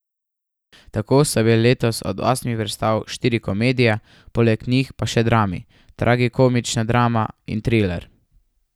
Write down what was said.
Tako so bile letos od osmih predstav štiri komedije, poleg njih pa še drami, tragikomična drama in triler.